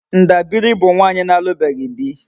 Ndabiri bu nwaanyi na-alubeghi di